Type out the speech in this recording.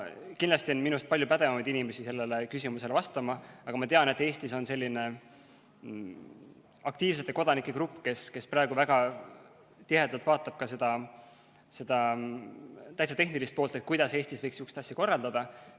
Kindlasti on minust palju pädevamaid inimesi sellele küsimusele vastama, aga ma tean, et Eestis on selline aktiivsete kodanike grupp, kes praegu väga tihedalt vaatab ka seda täitsa tehnilist poolt ja mõtleb, kuidas Eestis võiks midagi sellist korraldada.